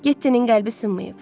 Gettinin qəlbi sınmayıb.